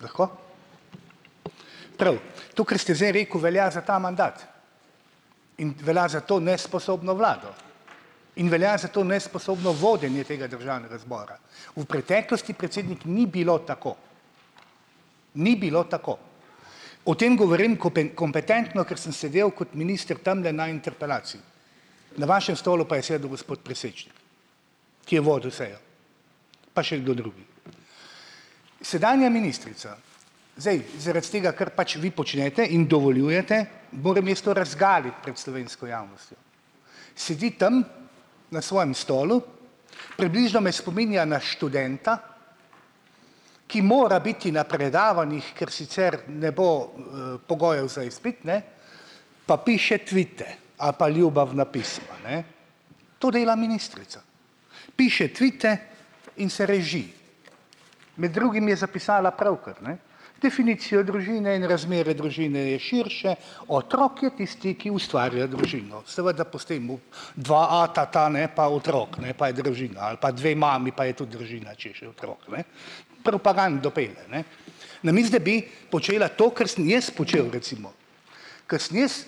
Lahko? Prav, to, kar ste zdaj rekel, velja za ta mandat. In velja za to nesposobno vlado in velja za to nesposobno vodenje tega državnega zbora. V preteklosti, predsednik, ni bilo tako. Ni bilo tako. O tem govorim kompetentno, ker sem sedel kot minister tamle na interpelaciji, na vašem stolu pa je sedel gospod Presečnik, ki je vodil sejo, pa še kdo drugi. Sedanja ministrica, zdaj, zaradi tega, ker pač vi počnete in dovoljujete, moram jaz to razgaliti pred slovensko javnostjo. Sedi tam na svojem stolu, približno me spominja na študenta, ki mora biti na predavanjih, ker sicer ne bo, pogojev za izpit, ne, pa piše tvite ali pa ljubavna pisma, ne. To dela ministrica. Piše tvite in se reži. Med drugim je zapisala pravkar, ne: "Definicija družine in razmere družine so širše, otrok je tisti, ki ustvarja družino." Seveda po sistemu dva ata, ne, pa otrok, ne, pa je družina, ali pa dve mami, pa je tudi družina, če je še otrok, ne. Propagando pelje ne, namesto da bi počela to, kar sem jaz počel recimo. Ko sem jaz